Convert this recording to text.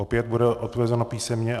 Opět bude odpovězeno písemně.